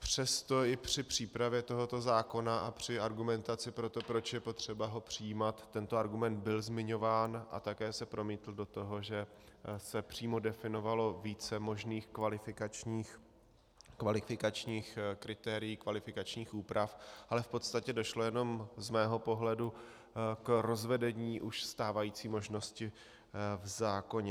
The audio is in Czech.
Přesto i při přípravě tohoto zákona a při argumentaci pro to, proč je potřeba ho přijímat, tento argument byl zmiňován a také se promítl do toho, že se přímo definovalo více možných kvalifikačních kritérií, kvalifikačních úprav, ale v podstatě došlo jenom z mého pohledu k rozvedení už stávající možnosti v zákoně.